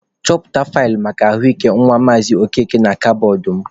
Chọta faịlụ maka ahụ ike nwa Maazị Okeke na kabọọdụ mụ.